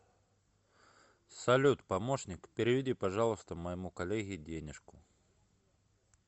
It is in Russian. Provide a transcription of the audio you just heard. салют помощник переведи пожалуйста моему коллеге денежку